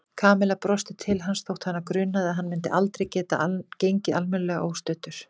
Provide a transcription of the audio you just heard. Kamilla brosti til hans þótt hana grunaði að hann myndi aldrei geta gengið almennilega óstuddur.